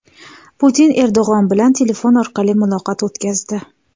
Putin Erdo‘g‘on bilan telefon orqali muloqot o‘tkazdi.